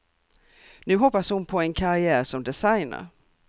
Nu hoppas hon på en karriär som designer.